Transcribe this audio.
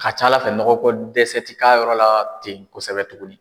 A ca ala fɛ nɔgɔ ko dɛsɛ ti k'a yɔrɔ la ten kosɛbɛ tuguni